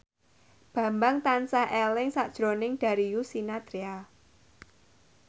Bambang tansah eling sakjroning Darius Sinathrya